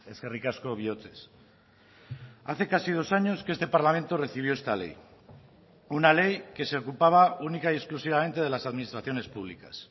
eskerrik asko bihotzez hace casi dos años que este parlamento recibió esta ley una ley que se ocupaba única y exclusivamente de las administraciones públicas